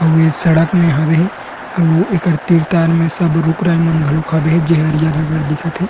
अउ ए सड़क में हवे हे अउ एकर तीर तार में सब रुक राइ मन घलोक हाबे हे जे हरियर-हरियर दिखत हे।